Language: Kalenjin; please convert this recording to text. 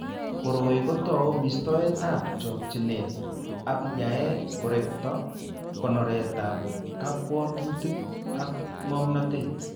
Koroi kotou mistoetab chokchinet ako yae korekto konoretab kabwatutit ak ng'omnotet.